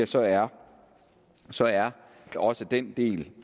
så er så er også den del